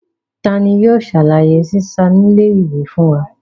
Tani yóò ṣàlàyé sísá nílé ìwé fún wa?